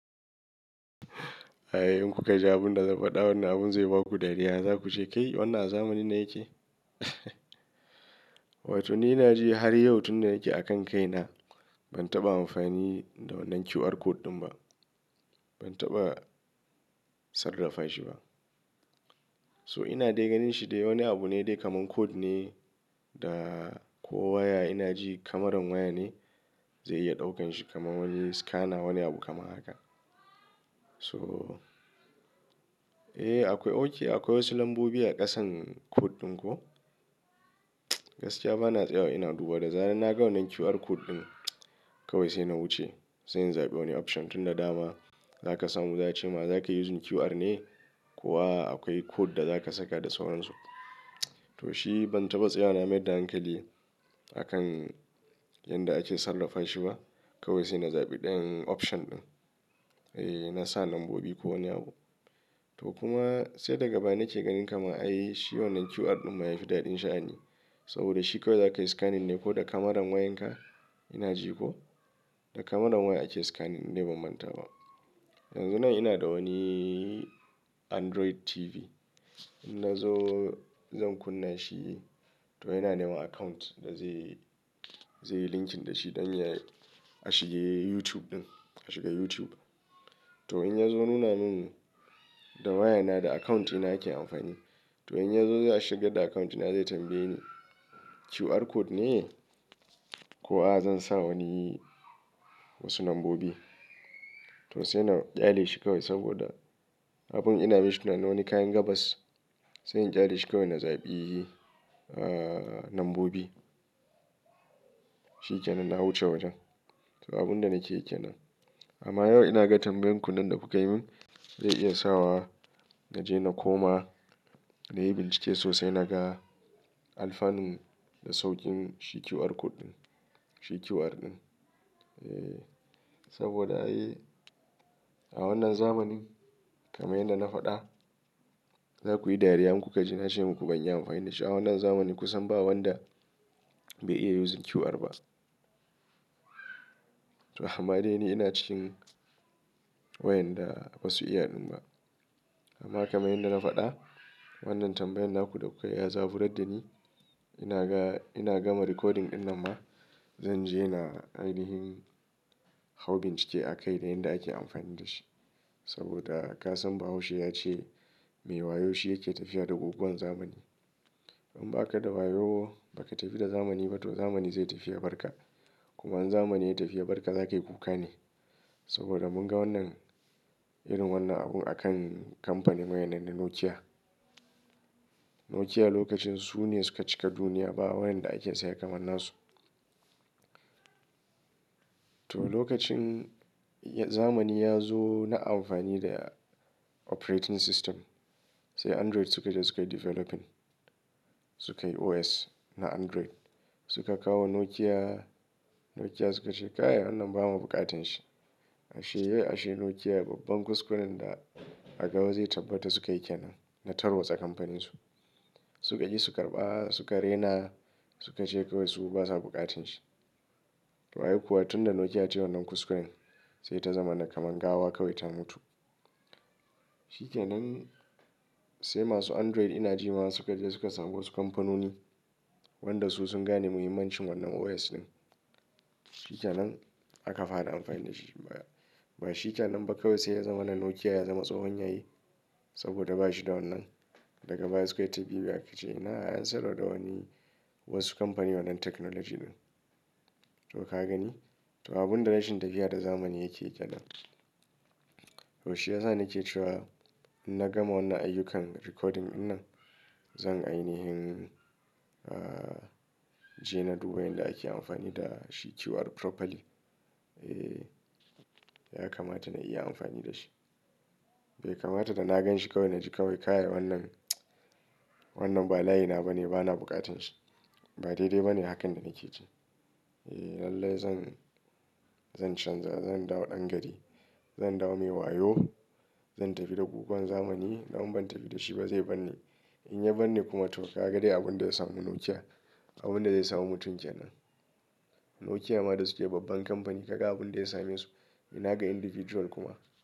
Eh in kuka ji abun da zan faɗa, wannan abun zai baku dariya. Za ku ce, "Kai wannan a zamanin nan yake?" Wato ni ina ji har yau tunda yake a kan kai na ban taɓa amfani da wannan QR code ɗin ba. Ban taɓa sarrafa shi ba. So ina dai ganin shi dai wani abu ne dai kaman code ne da kowa ina ji Cameran waya ne zai iya ɗaukan shi kaman wajen scanner wani abu kamar haka. So, eh akwai, oke akwai wasu lambobi a ƙasan code ɗin ko? Gaskiya bana tsaya ina duba da zarar na ga wannan QR code ɗin kawai sai na wuce. Sai in zaɓi wani option tun da dama za ka samu za a ce ma za ka yi using QR ne ko a akwai code da za ka saka da sauransu. To shi ban taɓa tsaya na mai da hankali a kan yadda ake sarrafa shi ba. Kawai sai na zaɓi ɗayan option ɗin. Eh na sa lambobi ko wani abu. To kuma sai daga baya na ce ganin kama ai shi wannan QR ɗin ma ya fi daɗin sha'ani. Saboda shi kawai za ka yi scanning ne ko da Cameran wayan ka ina ji ko? Da cameran waya ake scanning in bazan manta ba. Yanzu nan ina da wani Android TV. In na zo zan kunna shi to yana neman account da zai, zai linking da shi don ya a shige YouTube ɗin. A shiga YouTube. To in ya zo nuna min da waya na da account ɗina ake amfani. To in ya zo ya shiga da account na zai tambaye ni QR code ne ko a zan sa wani wasu lambobi. To sai na ƙyale shi kawai saboda abun ina bishana na wani kayan gabas. Sai in ƙyale shi kawai na zaɓi, ah, lambobi. Shi ke nan na wuce wajen. To abun da nake yi kenan. Amma yau ina ga tambayan kun nan da kuka yi min zai iya sa wa na je na koma na yi bincike sosai na ga alfanun da saukin shi QR code ɗin. Shi QR ɗin. Eh saboda eh a wannan zamanin kamar yadda na faɗa za ku yi dariya in kuka ji na ce muku ban yi amfani da shi a wannan zamani kusan ba wanda bai iya using QR ba. To amma dai ni ina cikin wayanda ba su iya ɗin ba. Amma kamar yadda na faɗa wannan tambayan naku da kuka yi ya zaburar da ni. Ina ga, ina gama recording ɗin nan ma zan je na ainihin hau bincike a kai da yadda ake amfani da shi. Saboda ka san bahaushe ya ce, "Mai wayo shi yake tafiya da gugan zamani." In ba ka da wayo ba ka tafi da zamani ba to zamani zai tafi ya barka. Kuma in zamani ya tafi ya barka za ka yi kuka ne. Saboda mun ga wannan irin wannan abun a kan kamfanin waya na da Nokia. Nokia lokacin su ne suka cika duniya ba wayan da ake saya kamar nasu. To lokacin zamani ya zo na amfani da operating system. Sai Android suka zo suka yi developing. Suka yi OS na Android. Suka kawo Nokia. Nokia suka ce, "Kai wannan ba ma buƙatar shi." Ashe ashe Nokia babban kuskuren da aka zo yi tabbata suka yi ke nan na tarwatsa kamfaninsu. Suka ji su karɓa suka rena suka ce kawai su kuma basa buƙatar shi. Kaga kuwa tun da Nokia ta yi wannan kuskuren sai ta zama na kaman gawa kawai ta mutu. Shi ke nan sai masu Android ina ji ma suka je suka samu wasu kamfanoni wanda su sun gane muhimmancin wannan OS ɗin. Shi ke nan aka fara amfani da shi. Ba shi ke nan ba kawai sai ya zama nan Nokia ya zama tsohon yayi saboda ba shi da wannan. Daga baya suka yi ta bibiya aka ce ina an sayar da wani wasu kamfani wannan technology ɗin. To ka gani? To abun da rashin tafiya da zamani yakeyi kenan. To shi yasa nake cewa in na gama wannan ayyukan recording ɗin nan zan ainihin, ah, je na duba yadda ake amfani da shi QR properly. Eh ya kamata na iya amfani da shi. Bai kamata da na gan shi kawai na ji kawai kaya wannan, wannan ba layi na ba ne bana buƙatar shi. Ba daidai ba ne hakan da kake ce. Eh lallai zan, zan canza zan dawo ɗan gari. Zan dawo mai wayo. Zan tafi da gugan zamani. Dan in ban tafi da shi ba zai bar ni. In ya bar ni kuma to ka ga dai abun da ya samu Nokia. Abun da zai samu mutum ke nan. Nokia ma da suke babban kamfani ka ga abun da ya same su. Ina ga individual kuma.